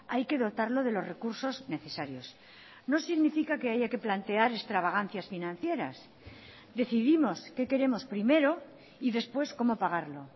hay que dotarlo de los recursos necesarios no significa que haya que plantear extravagancias financieras decidimos qué queremos primero y después cómo pagarlo